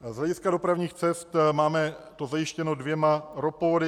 Z hlediska dopravních cest to máme zajištěno dvěma ropovody.